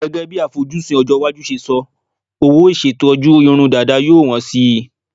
Gẹ́gẹ́ bí àfojúsùn ọjọ́-iwájú ṣe sọ, owó ìṣetọ́jú irun dàda yóò wọ́n síi.